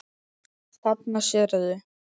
Þarna sérðu.